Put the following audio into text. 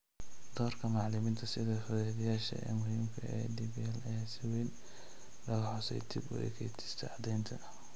Doorka macallimiinta sida fududeeyayaasha muhiimka ah ee DPL ayaa si weyn loogu xusay dib u eegista caddaynta.